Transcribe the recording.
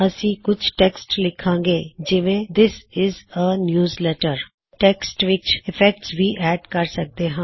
ਅਸੀ ਕੁਛ ਟੈੱਕਸਟ ਲਿਖਾਂਗੇ ਜਿਵੇ ਦਿੱਸ ਇਜ਼ ਅ ਨਿਉਜ਼ਲੈਟਰ ਤੁਸੀ ਟੈੱਕਸਟ ਵਿੱਚ ਇਫੈਕਟਸ ਵੀ ਐੱਡ ਕਰ ਸਕਦੇ ਹੋ